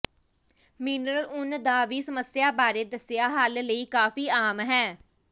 mineral ਉੱਨ ਦਾ ਵੀ ਸਮੱਸਿਆ ਬਾਰੇ ਦੱਸਿਆ ਹੱਲ ਲਈ ਕਾਫ਼ੀ ਆਮ ਹੈ